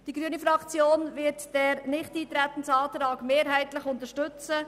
Die grüne Fraktion wird den Nichteintretensantrag mehrheitlich unterstützen.